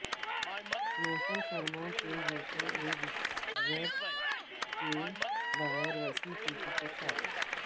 موسم سرما کے جوتے ایک زپ کے بغیر وسیع چوٹی کے ساتھ